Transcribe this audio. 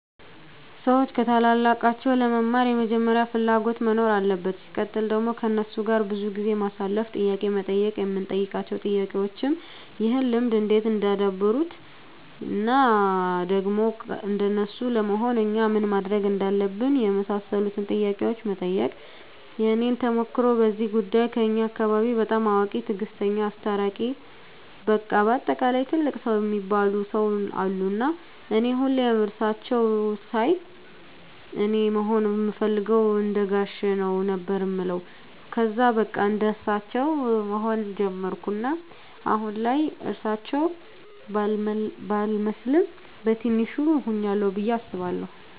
ሰዎች ከታላላቃቸው ለመማር መጀመሪያ ፍላጎት መኖር አለበት ሲቀጥል ደግሞ ከነሱ ጋር ብዙ ጊዜ ማሳለፍ፣ ጥያቄ መጠየቅ የምንጠይቃቸው ጥያቄዎችም ይህን ልምድ እንዴት እንዳደበሩት እና ደግሞ እንደነሱ ለመሆን እኛ ምን ማድረግ እንዳለብን የመሳሰሉትን ጥያቄዎች መጠየቅ። የኔን ተሞክሮ በዚህ ጉዳይ ከኛ አካባቢ በጣም አዋቂ፣ ትግስተኛ፣ አስታራቂ በቃ በአጠቃላይ ትልቅ ሰው እሚባሉ ሰው አሉ እና እኔ ሁሌም እሳቸውን ሳይ አኔ መሆን እምፈልገው እንደጋሼ ነው ነበር እምለው ከዛ በቃ እንደሳቸው መሆን ጀመርኩ እናም አሁን ላይ እርሳቸው ባልመስልም በቲንሹ ሁኛለሁ ብዬ አስባለሁ።